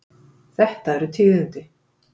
Þetta eru tíðindi.